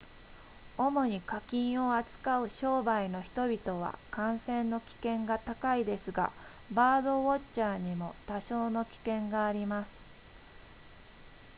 主に家禽を扱う商売の人々は感染の危険が高いですがバードウォッチャーにも多少の危険があります